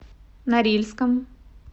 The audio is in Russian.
норильском